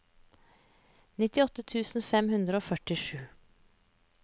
nittiåtte tusen fem hundre og førtisju